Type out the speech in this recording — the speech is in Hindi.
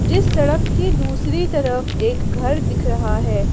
जिस सड़क की दूसरी तरफ एक घर दिख रहा है।